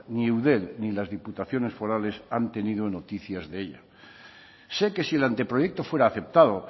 ni eudel ni las diputaciones forales han tenido noticias de ella sé que si el anteproyecto fuera aceptado